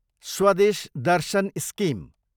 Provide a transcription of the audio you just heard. Swadesh Darshan scheme